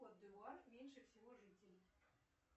кот д ивуар меньше всего жителей